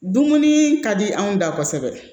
Dumuni ka di anw da kosɛbɛ